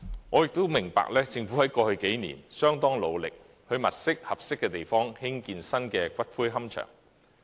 我也明白，政府在過去數年相當努力地物色合適的地方興建新的龕場。